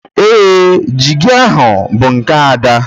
Ee, jiigi ahụ bụ nke Ada